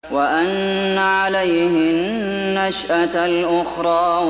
وَأَنَّ عَلَيْهِ النَّشْأَةَ الْأُخْرَىٰ